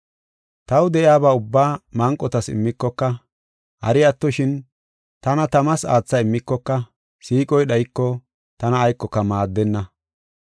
Taw de7iyaba ubbaa manqotas immikoka, hari attoshin, tana tamas aatha immikoka, siiqoy dhayiko tana aykoka maaddenna.